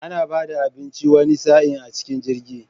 Ana bada abinci wani sa'in a cikin jirgi